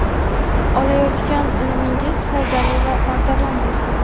Olayotgan ilmingiz foydali va bardavom bo‘lsin.